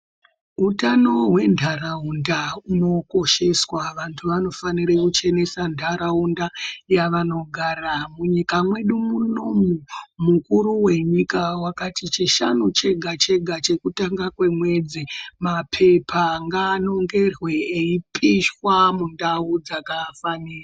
Utano hwentharaunda hunokosheswa vanthu vanofanira kuchenese ntharaunda yavanogara. Munyika mwedu munomu mukuru wenyika wakati chishanu chega chega chekutanga kwemwedzi mapepa ngaanongerwe eipishwa mundau dzakafanira.